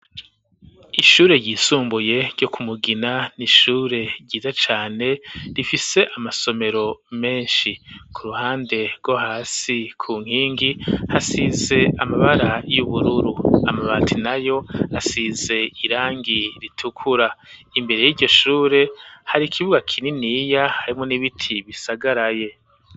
Ishure ryisumbuye ryo kumugina n'ishure ryiza cane rifise amasomero menshi ku ruhande rwo hasi ku nkingi hasize amabara y'ubururu amabati na yo asize irangi ritukura imbere y'iryoshure hari ikibwak ininiya harimwo n'ibiti bisagaraye.